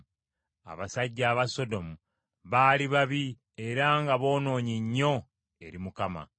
Abasajja aba Sodomu baali babi era nga boonoonyi nnyo eri Mukama .